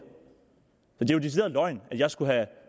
er jo decideret løgn at jeg skulle have